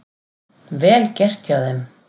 Vel gert hjá þeim.